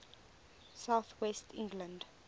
south west england